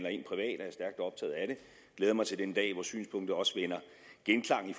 glæder mig til den dag hvor synspunktet også vinder genklang i